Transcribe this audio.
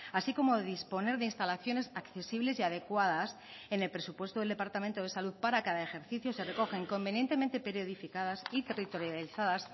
así como disponer de instalaciones accesibles y adecuadas en el presupuesto del departamento de salud para cada ejercicio se recogen convenientemente periodificadas y territorializadas